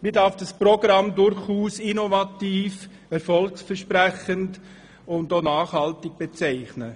Man darf dieses Programm als innovativ, erfolgversprechend und auch nachhaltig bezeichnen.